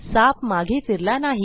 साप मागे फिरला नाही